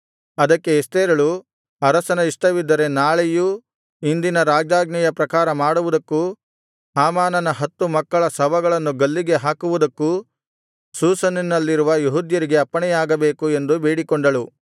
ಅದಕ್ಕೆ ಎಸ್ತೇರಳು ಅರಸನ ಇಷ್ಟವಿದ್ದರೆ ನಾಳೆಯೂ ಇಂದಿನ ರಾಜಾಜ್ಞೆಯ ಪ್ರಕಾರ ಮಾಡುವುದಕ್ಕೂ ಹಾಮಾನನ ಹತ್ತು ಮಕ್ಕಳ ಶವಗಳನ್ನು ಗಲ್ಲಿಗೆ ಹಾಕುವುದಕ್ಕೂ ಶೂಷನಿನಲ್ಲಿರುವ ಯೆಹೂದ್ಯರಿಗೆ ಅಪ್ಪಣೆಯಾಗಬೇಕು ಎಂದು ಬೇಡಿಕೊಂಡಳು